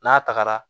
N'a tagara